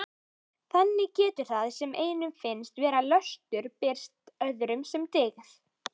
Þannig getur það sem einum finnst vera löstur birst öðrum sem dyggð.